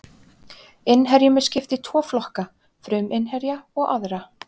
Innherjum er skipt í tvo flokka, fruminnherja og aðra.